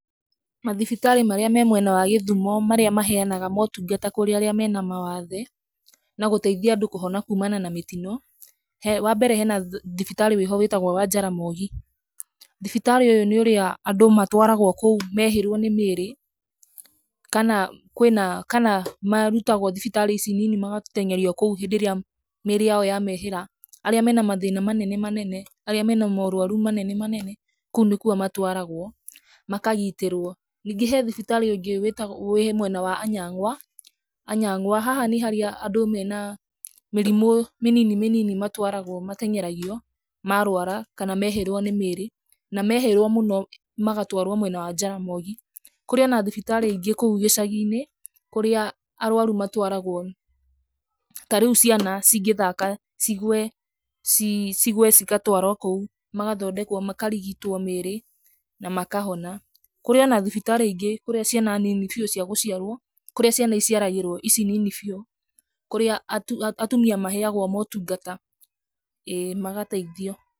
Mathibitarĩ marĩa mena mwena wa gĩthumo, marĩa maheanaga motungata kũrĩ arĩa mena mawathe na gũteithia andũ kũhona kumana na mĩtino, wa mbere hena thiritarĩ wĩho wĩtagwo wa Jaramogi. Thibitarĩ ũyũ nĩ ũrĩa andũ matwaragwo kũu mehĩrwo nĩ mĩĩrĩ, kana marutagwo thibitarĩ ici nini magateng'erio kou hĩndĩ ĩrĩa mĩĩrĩ ya mehĩra, arĩa mena mathĩna manene arĩa mena maorũaru manene manene, kũu nĩkuo matwaragwo makarigitĩrwo. Ningĩ he thibitarĩ ũngĩ wĩtagwo, we mwena wa Anyang'wa, Anyang'wa haha nĩ arĩa andũ mena mĩrimũ mĩnini mĩnini matwaragwo mateng'eragio marwara kana mehĩrwo nĩ mĩĩrĩ, na marwara mũno maratwarwo mwena wa Jaramogi. Kũrĩ na thibitarĩ ingĩ kũu icagi-inĩ kũrĩa arũaru matwaragwo, ta rĩu ciana cingĩthaka cigwe, cigwe cigatwarwo kũu magathondekwo makarigitwo mĩĩrĩ na makahona. Kũrĩ ona thibitarĩ ingĩ kũrĩa ciana nini bĩu cia gũciarwo, kũrĩa ciana iciaragĩrwo ici nini biũ, kũrĩa atumia maheagwo motungata, ĩĩ magateithio.